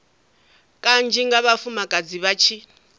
kanzhi nga vhafumakadzi vha tshi